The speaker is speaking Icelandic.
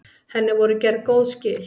Henni voru gerð góð skil.